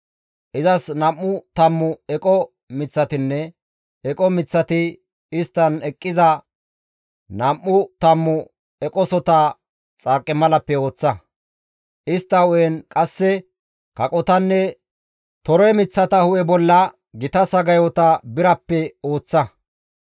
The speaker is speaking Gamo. Izas nam7u tammu eqo miththatinne eqo miththati isttan eqqiza nam7u tammu eqosota xarqimalappe ooththa; istta hu7en qasse kaqotanne tore miththata hu7e bolla gita sagayota birappe ooththa.